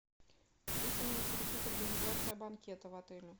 алиса меня интересует организация банкета в отеле